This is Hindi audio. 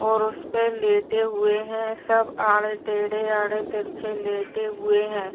और उसपे सब लेटे हुए हैं। सब आड़े टेडे आड़े तिरछे लेटे हुए हैं।